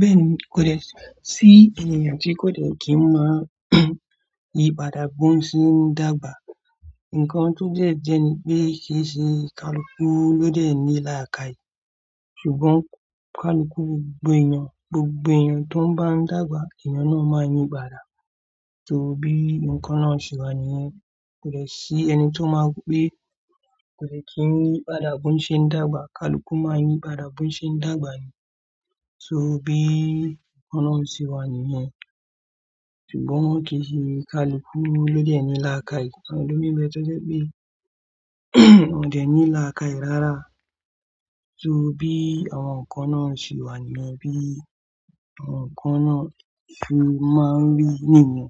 Bẹ́ẹ̀ni kò dè sí ènìyàn tí kò de kí n máa ní ìpàdàbọ̀ ń ṣe ń dàgbà. Ǹkan tó dẹ́ jẹ́ ni pé kì í ṣe kalukú ló dẹ̀ ní làákàì. Ṣùgbọ́n kalukú gbogbo ènìyàn, gbogbo ènìyàn tó ń bá ń dàgbà, ènìyàn náà máa ń ní ìpàdà. Torí bí ǹkan náà ṣe wà nìyẹn. Kò dè sí ẹni tó máa ń pé kò le kí n yìpàdà bó ń ṣe ń dàgbà. Kalukú máa ń yìpàdà bó ń ṣe ń dàgbà ni. Torí bí ǹkan náà ṣe wà nìyẹn. Ṣùgbọ́n kì í ṣe kalukú ló dẹ̀ ní làákàì. Àwọn elòmíì ń bẹ tọ́jé pé wọ́n ò dẹ̀ ní làákàì rárá. So bí àwọn ǹkan náà ṣe wà nìyẹn. Bí àwọn ǹkan náà ṣe máa ń rí nìyẹn.